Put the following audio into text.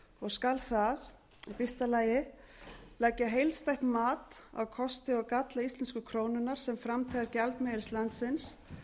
skal það a leggja heildstætt mat á kosti og galla íslensku krónunnar sem framtíðargjaldmiðils landsins